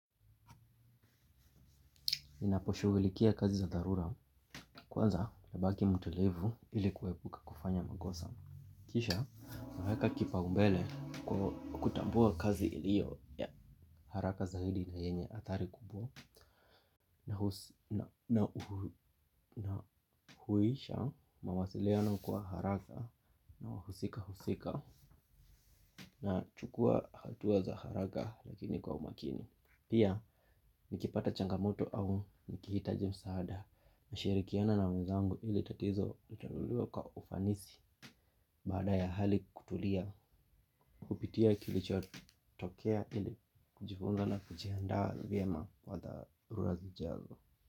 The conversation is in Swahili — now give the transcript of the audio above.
Ninaposhughulikia kazi za dharura, kwanza nabaki mtulivu ili kuepuka kufanya makosa. Kisha, naweka kipaumbele kutambua kazi ilio ya haraka zaidi na yenye athari kubwa na huisha mawasiliano kwa haraka na wahusika husika nachukua hatua za haraka lakini kwa umakini. Pia nikipata changamoto au nikihitaji msaada nashirikiana na wenzangu ili tatizo litatuliwe kwa ufanisi. Baada ya hali kutulia hupitia kilichotokea ili kujifunza na kujihanda vyema kwa dharura zijazo.